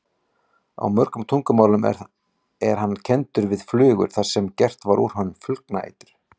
Á mörgum tungumálum er hann kenndur við flugur þar sem gert var úr honum flugnaeitur.